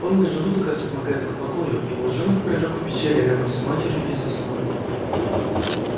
полный желудок располагает к покою и волчонок прилёг в пещере рядом с матерью и заснул